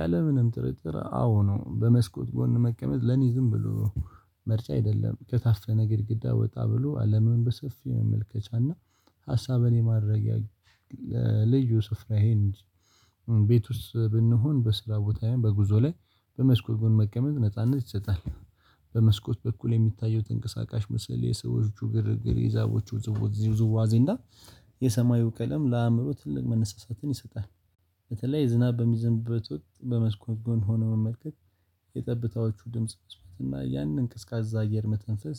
ያለምንም ጥርጥር አዎ ነው በመስኮት ጎን መቀመጥ ለኔ ዝም ብሎ ምርጫ አደለም ከታፈነ ግድግዳ ወጣ ብሎ አለምን በሰፊው መመልከቻና ሀሳብን የማድረጊያ ለልዩ ስፍራየን ቤት ውስጥ ብንሆን በስራ ቦታየ በጉዞ ላይ በመስኮት ጎን መቀመጥ ነጻነት ይሰጣል በመስኮት በኩል የሚታየው ተንቀሳቃሽ ምስል የሰዎቹ ግርግር የዛቦቹ ውዝዋዜ እና የሰማዩ ቀለም ለአእምሮ ትልቅ መነሳሳትን ይሰጣል። በተለይ ዝናብ በሚዘንብበት ወቅት በመስኮት ጎን ሆኖ መመልከት የጠብታዎቹ ድምጽ መስማት እና ያንን ቀዝቃዛ አየር መተንፈስ